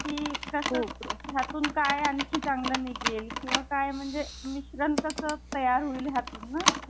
हम्म.. कस ह्यातून काय आजून चांगलं निघेल, किंवा मिश्रण कस तयार होईल ह्यातून ना ,